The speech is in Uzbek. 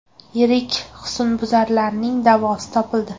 Yirik husnbuzarning davosi topildi.